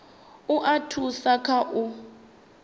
u a thusa kha u